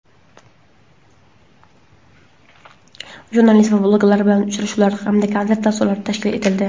jurnalist va blogerlar bilan uchrashuvlar hamda konsert dasturlari tashkil etildi.